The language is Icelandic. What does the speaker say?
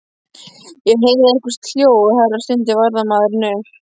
Ég heyrði eitthvert hljóð, herra stundi varðmaðurinn upp.